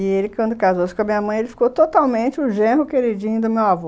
E ele, quando casou-se com a minha mãe, ele ficou totalmente o genro queridinho do meu avô.